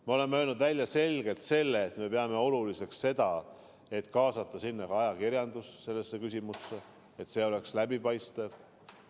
Me oleme öelnud selgelt välja, et peame oluliseks kaasata sellesse küsimusse ka ajakirjanduse, et toimuv oleks läbipaistev.